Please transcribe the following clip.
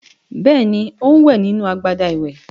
Bẹ́ẹ̀ni, ó ń wẹ̀ nínú agbada ìwẹ̀.